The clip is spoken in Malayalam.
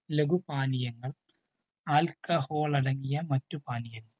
ലഖുപാനീയങ്ങൾ alcohol അടങ്ങിയ മറ്റു പാനീയങ്ങൾ